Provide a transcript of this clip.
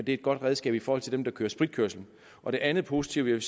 et godt redskab i forhold til dem der kører spritkørsel og det andet positive jeg